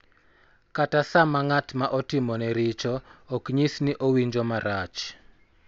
Kata sama ng�at ma otimone richo ok nyis ni owinjo marach.